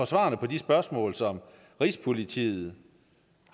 svarene på de spørgsmål som rigspolitiet